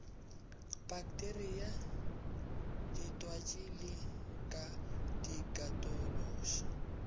pakteria ditwatši di ka ikatološa